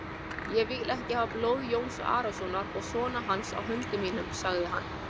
Ég vil ekki hafa blóð Jóns Arasonar og sona hans á höndum mínum, sagði hann.